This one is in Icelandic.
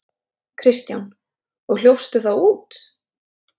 Kristján: Og hljópstu þá út?